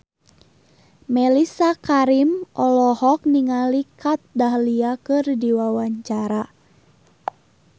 Mellisa Karim olohok ningali Kat Dahlia keur diwawancara